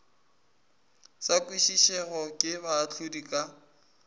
sa kwešišwego ke baahlodi ka